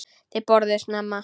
Þau borðuðu snemma.